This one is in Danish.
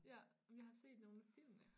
Ja jeg har set nogen af filmene